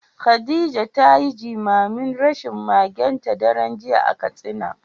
Khadija ta yi jimamin rashin magenta daren jiya a Katsina.